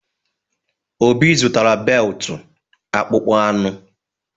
Obi zụtara beltụ akpụkpọ anụ.